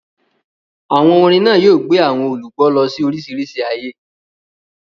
Àwọn orin náà yóò gbé àwọn olùgbọ́ lọ sí oríṣiríṣi ayé.